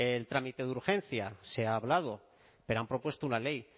el trámite de urgencia se ha hablado pero han propuesto una ley